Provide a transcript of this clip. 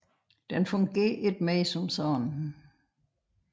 Den fungerer ikke mere som sådan